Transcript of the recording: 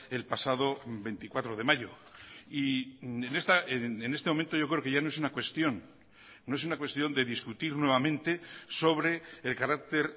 el pasado veinticuatro de mayo y en este momento yo creo que ya no es una cuestión no es una cuestión de discutir nuevamente sobre el carácter